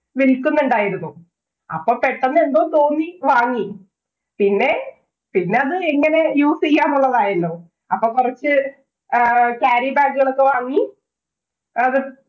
വില്‍ക്കുന്നുണ്ടായിരുന്നു. അപ്പൊ പെട്ടന്ന് എന്തോ തോന്നി വാങ്ങി. പിന്നെ പിന്നെ അത് എങ്ങന use ചെയ്യാന്നുള്ളത് ആയല്ലോ. അപ്പൊ കൊറച്ച് carry bag കളൊക്കെ വാങ്ങി. അത്